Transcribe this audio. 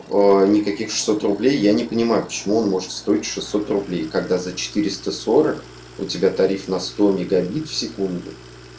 никаких шестьсот рублей я не понимаю почему он может стоить шестьсот рублей когда за четыреста сорок у тебя тариф на сто мегабит в секунду